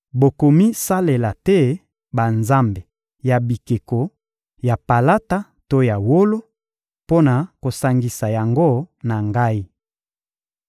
Bokomisalela te banzambe ya bikeko ya palata to ya wolo, mpo na kosangisa yango na Ngai.